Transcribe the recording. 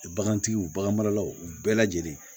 Bagantigiw bagan maralaw u bɛɛ lajɛlen